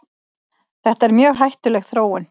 Þetta er mjög hættuleg þróun.